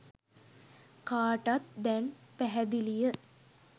කාටත් දැන් පැහැදිලිය.